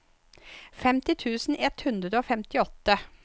femti tusen ett hundre og femtiåtte